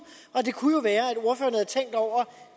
og det kunne være